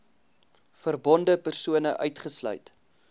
verbonde persone uitgesluit